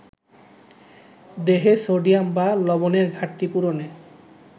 দেহে সোডিয়াম বা লবণেরঘাটতি পূরণে